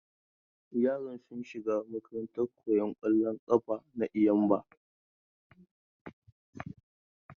Yara sun shiga makarantan koyan kwallon kafa na Eyimba.